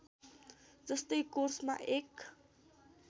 जस्तै कोर्समा एक